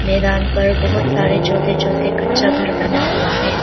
मैदान पर बहुत सारे छोटे छोटे कच्चा घर बना हुआ है।